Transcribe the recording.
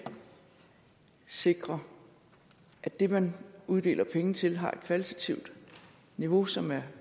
sikre at det man uddeler penge til har et kvalitativt niveau som er